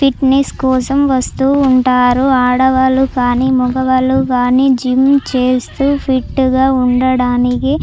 Fitness కోసం వస్తూ ఉంటారు. ఆడవాళ్లు కానీమగవాళ్లు కానీ జిమ్ చేస్తూ ఫిట్ గా ఉండడానికి--